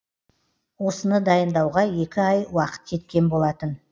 осыны дайындауға екі ай уақыт кеткен болатын